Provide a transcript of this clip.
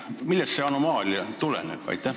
Millest see anomaalia tuleneb?